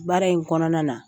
Baara in kɔnɔna na